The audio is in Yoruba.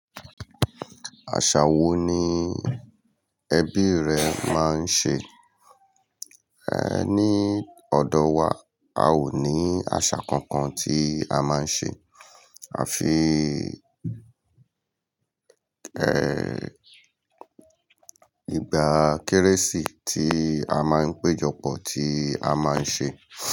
Àṣà wo ni ẹbí rẹ máa ń ṣe? Ní ọ̀dọ̀ wa, a ò ní àṣà kankan tí a máa ń ṣe. A fi, ìgbà Kérésì tí a máa ń péjọpọ̀ tí a máa ń ṣe.